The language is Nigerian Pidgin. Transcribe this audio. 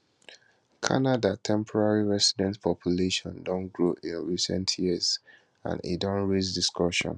canada temporary resident population don grow in recent years and e don raise discussion